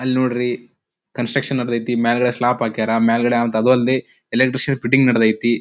ಅಲ್ ನೋಡ್ರಿ ಕನ್ಸ್ಟ್ರಕ್ಷನ್ ನಡೆದೈತಿ ಮೇಲ್ಗಡೆ ಸ್ಲಾಪ್ ಹಾಕ್ಯಾರ ಮೇಲ್ಗಡೆ ಅದು ಅಲ್ದೆ ಎಲೆಕ್ಟ್ರಿಷಿಯನ್ ಫಿಟ್ಟಿಂಗ್ ನಡೆದೈತಿ.